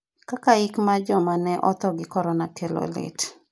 kaka yik mar jomane otho gi korona kelo lit